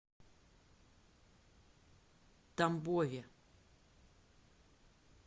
тамбове